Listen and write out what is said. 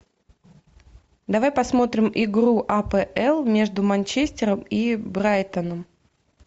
давай посмотрим игру апл между манчестером и брайтоном